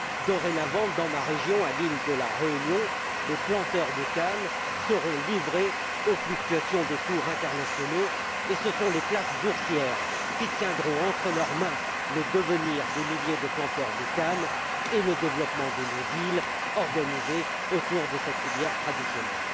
Dorénavant, dans ma région, sur l'île de la Réunion, les planteurs de canne seront livrés aux fluctuations des cours internationaux et ce sont les places boursières qui tiendront entre leurs mains le devenir de milliers de planteurs de canne ainsi que le développement de nos îles, organisé autour de cette filière traditionnelle.